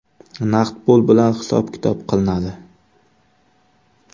Naqd pul bilan hisob-kitob qilinadi.